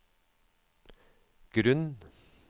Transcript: grunn